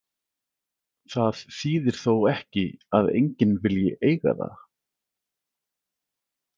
Það þýðir þó ekki að enginn vilji eiga það.